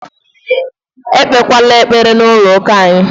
E kpekwere ekpere na chọọchị anyị!